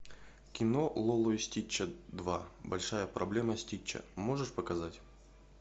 кино лило и стич два большая проблема стича можешь показать